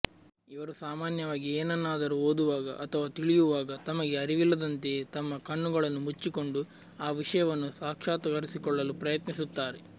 ಇವರು ಸಾಮಾನ್ಯವಾಗಿ ಏನನ್ನಾದರೂ ಓದುವಾಗ ಅಥವಾ ತಿಳಿಯುವಾಗ ತಮಗೆ ಅರಿವಿಲ್ಲದಂತೆಯೇ ತಮ್ಮ ಕಣ್ಣುಗಳನ್ನು ಮುಚ್ಚಿಕೊಂಡು ಆ ವಿಷಯವನ್ನು ಸಾಕ್ಷಾತ್ಕರಿಸಿಕೊಳ್ಳಲು ಪ್ರಯತ್ನಿಸುತ್ತಾರೆ